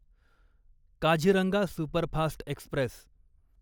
Kaziranga superfast Express